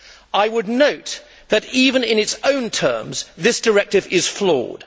I would note that, even in its own terms, this directive is flawed.